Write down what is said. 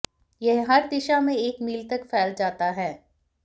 यह हर दिशा में एक मील तक फैल जाता है